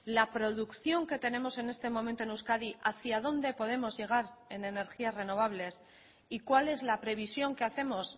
la producción que tenemos en este momento en euskadi hacía dónde podemos llegar en energías renovables y cuál es la previsión que hacemos